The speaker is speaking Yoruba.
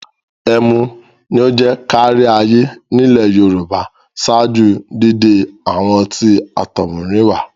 Ẹmu ni ó jẹ́ káríayé nílẹ̀ Yorùbá ṣáájú dídé àwọn ọtí àtọ̀húnrìnwá.